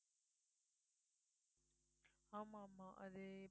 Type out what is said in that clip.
ஆமா ஆமா அது